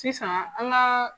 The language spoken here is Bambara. Sisan an ka